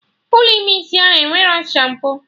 Ụlọ ime isi ahụ enwerọ shampo